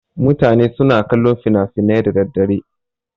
Mutane sunfi kallon fina-finai da daddare.